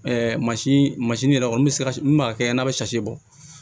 yɛrɛ kɔni bɛ se ka min b'a kɛ n'a bɛ bɔ